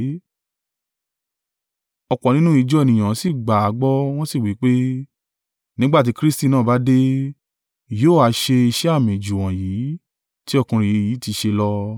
Ọ̀pọ̀ nínú ìjọ ènìyàn sì gbà á gbọ́, wọ́n sì wí pé, “Nígbà tí Kristi náà bá dé, yóò ha ṣe iṣẹ́ àmì jù wọ̀nyí, tí ọkùnrin yìí ti ṣe lọ?”